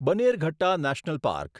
Bannerghatta national park